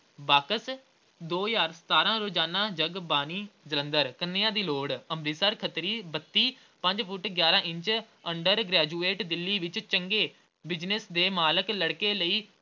Box ਦੋ ਹਜ਼ਾਰ ਸਤਾਰਾਂ ਰੋਜ਼ਾਨਾ ਜਗਬਾਣੀ ਜਲੰਧਰ। ਕੰਨੀਆ ਦੀ ਲੋੜ ਅੰਬਰਸਰ ਖੱਤਰੀ, ਬੱਤੀ, ਪੰਜ ਫੁੱਟ ਗਿਆਰਾਂ ਇੰਚ undergraduate ਦਿੱਲੀ ਵਿੱਚ ਚੰਗੇ Business ਦੇ ਮਾਲਕ ਲੜਕੇ ਲਈ